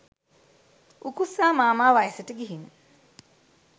උකුස්සා මාමා වයසට ගිහින්